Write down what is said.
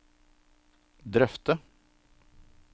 drøfte